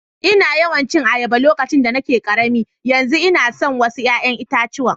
Na yawa cin ayaba a lokacin da nake karemi, yanzu una so wassu yayan itatuwa.